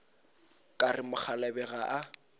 ka re mokgalabje ga a